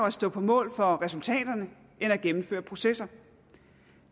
at stå på mål for resultaterne end at gennemføre processer